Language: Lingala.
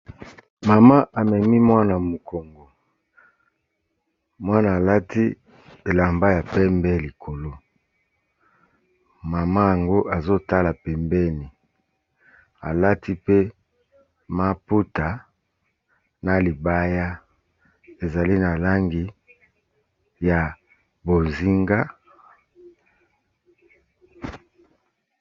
Mama amemi mwana mokongo, mwana alati elamba ya pembe likolo. Mama yango azo tala pembeni, alati pe maputa na libaya ezali na langi ya bozinga.